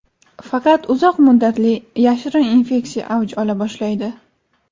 Faqat uzoq muddatli, yashirin infeksiya avj ola boshlaydi.